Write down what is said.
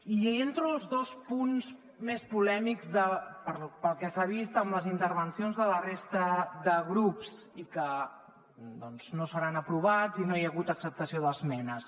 i entro als dos punts més polèmics pel que s’ha vist amb les intervencions de la resta de grups i que doncs no seran aprovats i no hi ha hagut acceptació d’esmenes